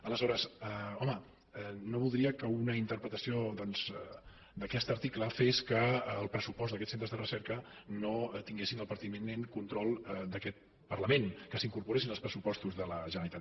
aleshores home no voldria que una interpretació doncs d’aquest article fes que el pressupost d’aquests centres de recerca no tingués el pertinent control d’aquest parlament que s’incorporessin als pressupostos de la generalitat